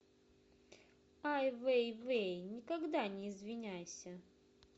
ай вей вей никогда не извиняйся